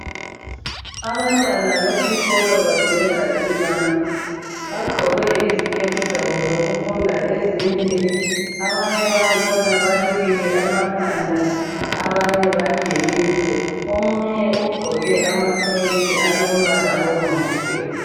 Abantwana besikolo bageza izandla bagqoke iziketi zabo zokufunda ezinde abanye bangikhona balukile amakhanda abanye bagelile omunye ugqoke amasokisi alombala obomvu gebhu.